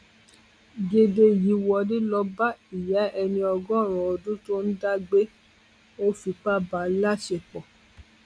gèdè yìí wọlé lọọ bá ìyá ẹni ọgọrin ọdún tó ń dá gbé ọ fipá bá a láṣepọ